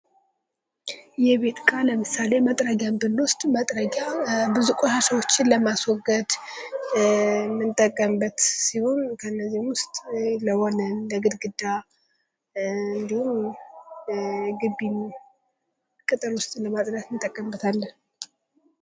የቤት እቃ ለምሳሌ መጥረጊያን ብኖሰድ ቆሻሻዎችን ለማስወገድ የምንጠቀምበት ሲሆን ከእነዚህም ውስጥ ለወለል ለግርግዳ እንዲሁም ቅጥር ግቢ ለማጽዳት እንጠቀምበታለን።